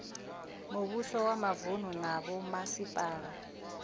muvhuso wa mavunu na vhomasipala